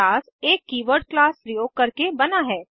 class एक keyword class प्रयोग करके बना है